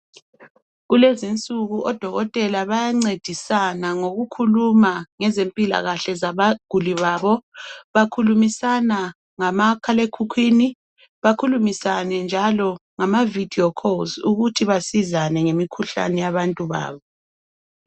Kulezinsuku odokotela bayancedisana ngokukhuluma ngezempilakahle zabaguli babo. Bakhulumisana ngamakhalaekhukhwini, bakhulumisana njalo ngama vidiyo calls ukuthi basizane ngemikhuhlane yabantu babo.